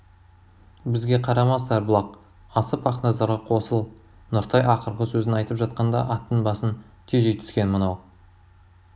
бізге қарама сарбұлақ асып ақназарға қосыл нұртай ақырғы сөзін айтып жатқанда аттың басын тежей түскен мынау